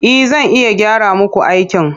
E, zan iya gyara muku aikin.